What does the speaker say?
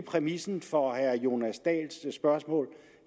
præmissen for herre jonas dahls spørgsmål